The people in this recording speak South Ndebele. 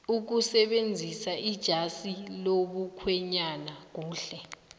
ukusebenzisaijazi lomukhwenyana kuhle